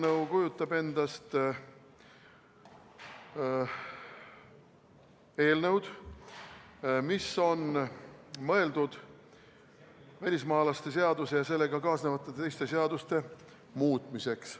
See kujutab endast eelnõu, mis on mõeldud välismaalaste seaduse ja sellega kaasnevate teiste seaduste muutmiseks.